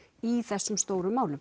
í þessum stóru málum